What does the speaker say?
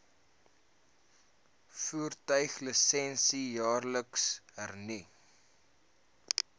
voertuiglisensie jaarliks hernu